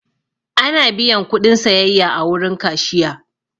Ana biyan kuɗin sayayya a wurin kashiya.